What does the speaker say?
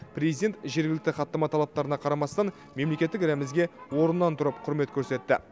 президент жергілікті хаттама талаптарына қарамастан мемлекеттік рәмізге орнынан тұрып құрмет көрсетті